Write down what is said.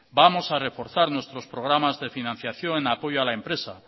vamos a reforzar nuestros programas de financiación en apoyo a la empresa